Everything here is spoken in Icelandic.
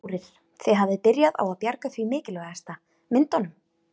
Þórir: Þið hafið byrjað á að bjarga því mikilvægasta, myndunum?